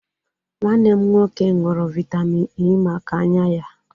Nwanne m nwoke ṅụụrụ vitamịn Ẹ́ maka anya ya.